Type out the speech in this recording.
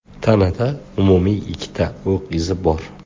Tanada umumiy ikkita o‘q izi bor.